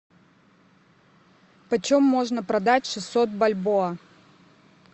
почем можно продать шестьсот бальбоа